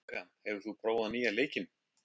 Rebekka, hefur þú prófað nýja leikinn?